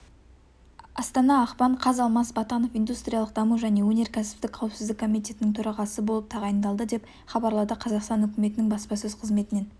астана ақпан қаз алмас батанов индустриялық даму және өнеркәсіптік қауіпсіздік комитетінің төрағасы болып тағайындалды деп хабарлады қазақстан үкіметінің баспасөз қызметінен